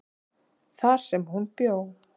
þar sem hún bjó.